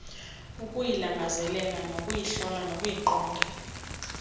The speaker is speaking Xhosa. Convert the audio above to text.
ukuyilangazelela nokuyihlola nokuyiqonda